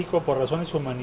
og borið saman í